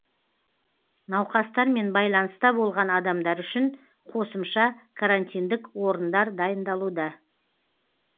науқастармен байланыста болған адамдар үшін қосымша карантиндік орындар дайындалуда